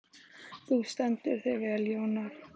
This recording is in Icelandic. Þú stendur þig vel, Jónar!